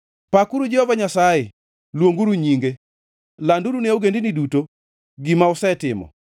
Pakuru Jehova Nyasaye, luonguru nyinge; landuru ne ogendini duto gima osetimo.